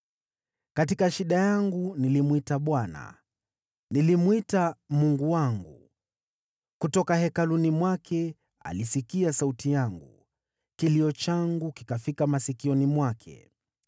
Katika shida yangu nalimwita Bwana , nilimlilia Mungu wangu. Kutoka Hekaluni mwake alisikia sauti yangu, kilio changu kikafika masikioni mwake.